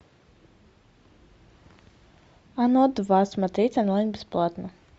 оно два смотреть онлайн бесплатно